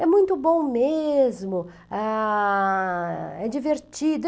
É muito bom mesmo, a... é divertido.